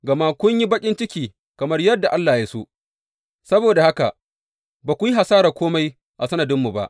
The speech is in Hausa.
Gama kun yi baƙin ciki kamar yadda Allah ya so, saboda haka, ba ku yi hasarar kome a sanadinmu ba.